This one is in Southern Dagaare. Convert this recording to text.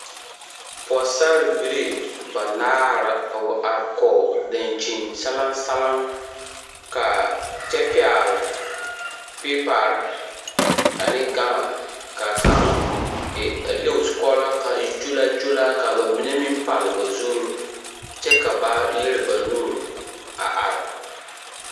Pɔɡesarbilii banaare la wa are kɔɡe daŋkyinsalaŋsalaŋ kyɛ pɛɡele peepare ne ɡama ka a kaŋ e leŋ o zukɔɔloŋ ka a e kyolaakyolaa ka ba mine meŋ pal ba zur kyɛ ka ba lere ba nuur a are.